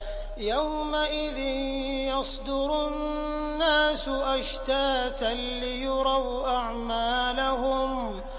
يَوْمَئِذٍ يَصْدُرُ النَّاسُ أَشْتَاتًا لِّيُرَوْا أَعْمَالَهُمْ